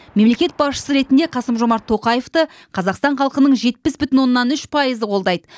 мемлекет басшысы ретінде қасым жомарт тоқаевты қазақстан халқының жетпіс бүтін оннан үш пайызы қолдайды